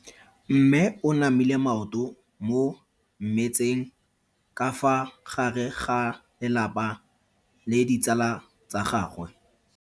Mme o namile maoto mo mmetseng ka fa gare ga lelapa le ditsala tsa gagwe.